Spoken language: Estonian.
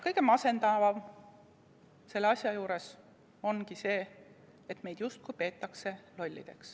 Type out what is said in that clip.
Kõige masendavam selle asja juures ongi see, et meid justkui peetakse lollideks.